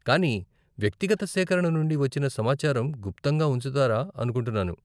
కానీ, వ్యక్తిగత సేకరణ నుండి వచ్చిన సమాచారం గుప్తంగా ఉంచుతారా అనుకుంటున్నాను?